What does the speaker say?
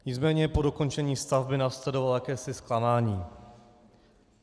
Nicméně po dokončení stavby následovalo jakési zklamání.